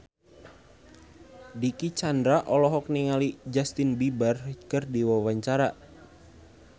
Dicky Chandra olohok ningali Justin Beiber keur diwawancara